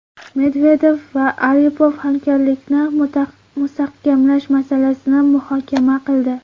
Medvedev va Aripov hamkorlikni mustahkamlash masalasini muhokama qildi.